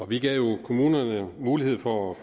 vi gav jo kommunerne mulighed for